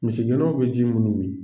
Misigɛnnaw bɛ ji minnu min